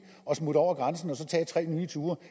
at smutte over grænsen og så tage tre nye ture